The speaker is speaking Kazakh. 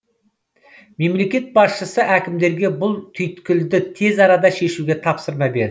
мемлекет басшысы әкімдерге бұл түйіткілді тез арада шешуге тапсырма берді